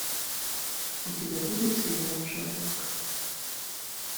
у тебя будет сериал шерлок